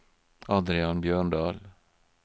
Adrian Bjørndal